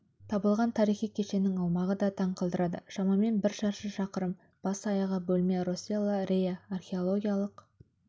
табылған тарихи кешеннің аумағы да таң қалдырады шамамен бір шаршы шақырым бас-аяғы бөлме росселла реа археологиялық